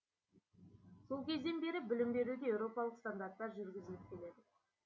сол кезден бері білім беруде еуропалық стандарттар жүргізіліп келеді